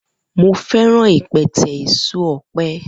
Mo feran ipẹtẹ eso ọpẹ.